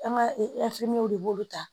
An ka w de b'olu ta